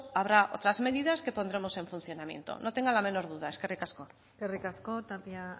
habrá otras medidas que pondremos en funcionamiento no tenga la menor duda eskerrik asko eskerrik asko tapia